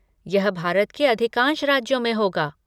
यह भारत के अधिकांश राज्यों में होगा।